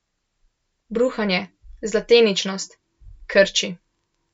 Bruhanje, zlateničnost, krči.